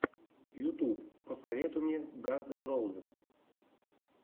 ютуб посоветуй мне ганз эн роузиз